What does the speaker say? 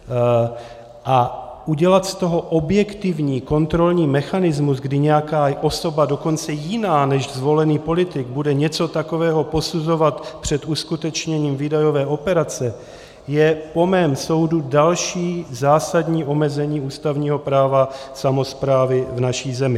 A udělat z toho objektivní kontrolní mechanismus, kdy nějaká osoba, dokonce jiná než zvolený politik, bude něco takového posuzovat před uskutečněním výdajové operace, je po mém soudu další zásadní omezení ústavního práva samosprávy v naší zemi.